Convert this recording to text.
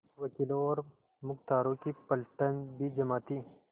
वकीलों और मुख्तारों की पलटन भी जमा थी